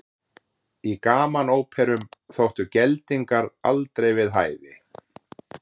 Í gamanóperum þóttu geldingar aldrei við hæfi.